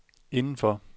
indenfor